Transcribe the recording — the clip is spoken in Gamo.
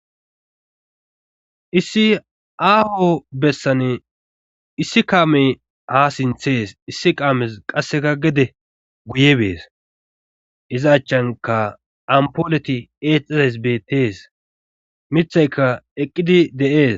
issi aaho bessane issi kaamey ha sinthe yes issi qaames qasseka gede guye bees iza achanka ampooleti eexaes beettees mithayka eqqidi de'ees